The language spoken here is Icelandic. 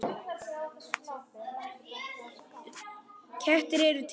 Kettir eru til